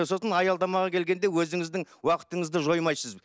сосын аялдамаға келгенде өзіңіздің уақытыңызды жоймайсыз